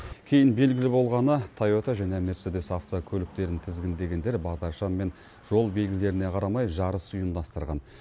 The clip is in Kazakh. кейін белгілі болғаны тайота және мерседес автокөліктерін тізгіндегендер бағдаршам мен жол белгілеріне қарамай жарыс ұйымдастырған